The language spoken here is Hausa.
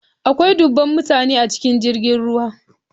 Akwai dubban mutane a cikin jirgin ruwa.